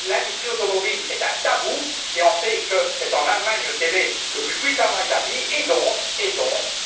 L'industrie automobile est un tabou, et on sait que c'est en Allemagne qu'elle est le plus puissamment établie, et donc,